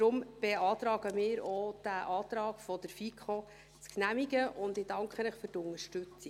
Deshalb beantragen wir auch, diesen Antrag der FiKo zu genehmigen, und ich danke Ihnen für die Unterstützung.